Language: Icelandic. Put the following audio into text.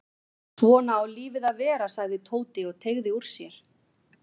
Svona á lífið að vera sagði Tóti og teygði úr sér.